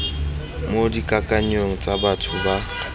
mo dikakanyong tsa batho ba